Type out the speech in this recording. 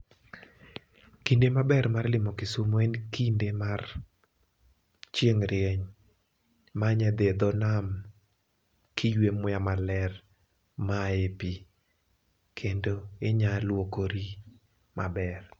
kinde maber mar limo Kisumu en kinde ma chieng' rieny, ma inya dhie dho nam kiywe muya maler maa epii kendo inya luokori maber.